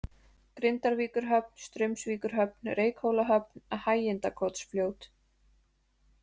Grindavíkurhöfn, Straumsvíkurhöfn, Reykhólahöfn, Hægindakotsfljót